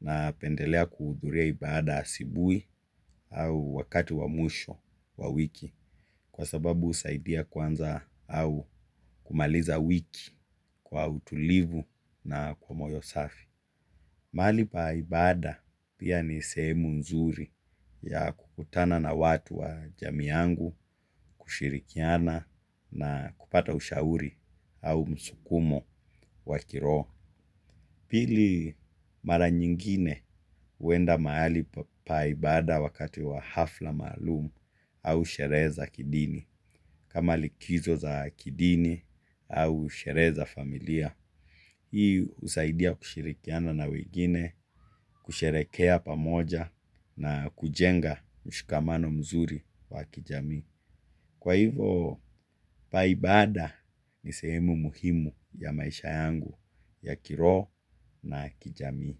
napendelea kuhudhuria ibaada asubuhi au wakati wa mwisho wa wiki kwa sababu husaidia kuanza au kumaliza wiki kwa utulivu na kwa moyo safi. Mahali pa ibaada pia ni sehemu nzuri ya kukutana na watu wa jamii yangu kushirikiana na kupata ushauri au msukumo wa kiroho. Pili mara nyingine huenda mahali pa ibaada wakati wa hafla maalumu au sherehe za kidini. Kama likizo za kidini au sherehe za familia. Hii husaidia kushirikiana na wengine, kusherehekea pamoja na kujenga mshikamano mzuri wa kijamii. Kwa hivo pa ibaada ni sehemu muhimu ya maisha yangu ya kiroho na kijamii.